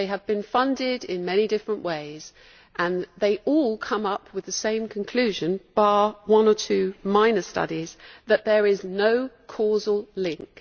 They have been funded in many different ways and they all come up with the same conclusion, bar one or two minor studies namely that there is no causal link.